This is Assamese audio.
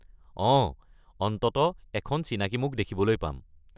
অঁ, অন্ততঃ এখন চিনাকি মুখ দেখিবলৈ পাম।